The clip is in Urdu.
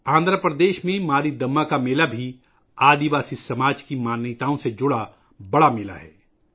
آندھرا پردیش میں ماری دماّ کا میلہ بھی قبائلی سماج کے عقائد سے جڑا ایک بڑا میلہ ہے